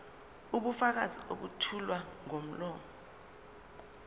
ubufakazi obethulwa ngomlomo